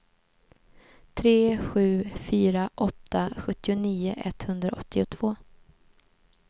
tre sju fyra åtta sjuttionio etthundraåttiotvå